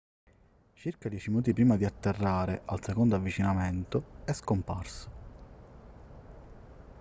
circa dieci minuti prima di atterrare al secondo avvicinamento è scomparso